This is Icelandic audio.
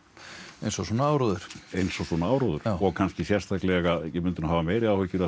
eins og svona áróður eins og svona áróður og kannski sérstaklega ég myndi hafa meiri áhyggjur af